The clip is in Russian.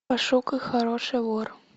пошукай хороший вор